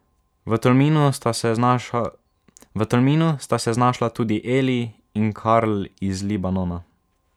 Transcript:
V Tolminu sta se znašla tudi Eli in Karl iz Libanona.